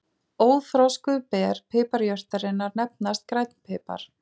Óþroskuð ber piparjurtarinnar nefnast grænn pipar.